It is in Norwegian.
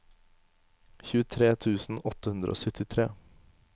tjuetre tusen åtte hundre og syttitre